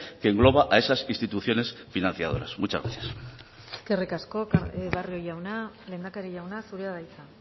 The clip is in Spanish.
que engloba a esas instituciones financiadoras muchas gracias eskerrik asko barrio jauna lehendakari jauna zurea da hitza